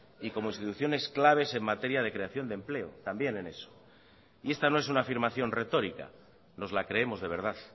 y como instituciones claves en materia de creación de empleo también en eso y esta no es una afirmación retórica nos la creemos de verdad